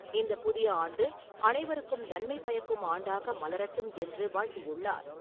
இந்த புதிய ஆண்டு அனைவருக்கும் நன்மை பயக்கும் ஆண்டாக மலரட்டும் என்று வாழ்த்தியுள்ளார்.